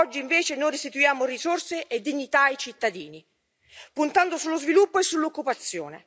Oggi invece noi restituiamo risorse e dignità ai cittadini, puntando sullo sviluppo e sull'occupazione.